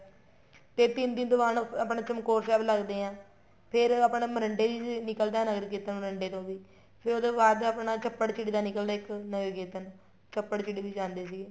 ਤੇ ਤਿੰਨ ਦਿਨ ਤੋ ਬਾਅਦ ਆਪਣਾ ਚਮਕੋਰ ਸਾਹਿਬ ਲੱਗਦੇ ਆ ਫ਼ੇਰ ਆਪਣੇ ਮੋਰਿੰਡੇ ਵੀ ਨਿੱਕਲ ਦਾ ਹੈ ਨਗਰ ਕੀਰਤਨ ਮੋਰਿੰਡੇ ਤੋ ਵੀ ਫ਼ੇਰ ਉਹਦੇ ਬਾਅਦ ਆਪਣਾ ਚੱਪੜਚਿੜੀ ਦਾ ਨਿੱਕਲ ਦਾ ਇੱਕ ਨਗਰ ਕੀਰਤਨ ਚੱਪੜਚਿੜੀ ਵੀ ਜਾਂਦੇ ਸੀਗੇ